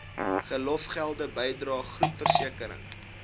verlofgelde bydrae groepversekering